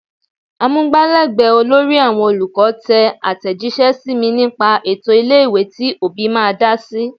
Amugbalegbe olórí àwọn olùkọ́ tẹ atejise sí mi nípa ètò ilé-ìwé tí òbí máa dá sí.